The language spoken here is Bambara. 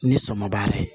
Ni sɔ ma b'a la